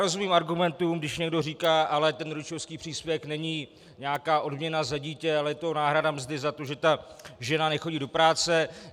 Rozumím argumentům, když někdo říká: ale ten rodičovský příspěvek není nějaká odměna za dítě, ale je to náhrada mzdy za to, že ta žena nechodí do práce.